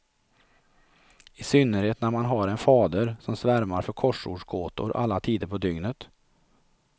I synnerhet när man har en fader som svärmar för korsordsgåtor alla tider på dygnet.